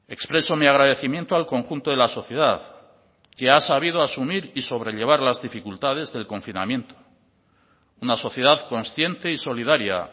expreso mi agradecimiento al conjunto de la sociedad que ha sabido asumir y sobrellevar las dificultades del confinamiento una sociedad consciente y solidaria